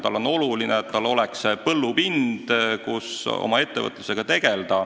Talle on oluline, et tal oleks olemas põllupind, kus oma ettevõtlusega tegelda.